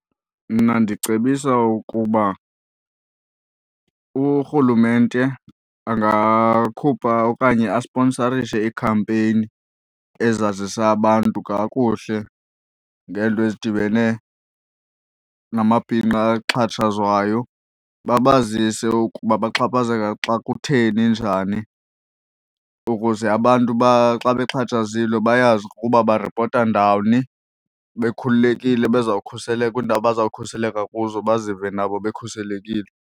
Mna ndicebisa ukuba urhulumente angakhupha okanye asponsarishe iikhampeyini ezazisa abantu kakuhle ngeento ezidibene namabhinqa axhatshazwayo babazise ukuba bexhaphazeka xa kutheni njani ukuze abantu xa bexhatshazilwe bayazi ukuba baripota ndawuni, bekhululekile bezawukhuseleka kwiindawo abazawukhuseleka kuzo bazive nabo bekhuselekile.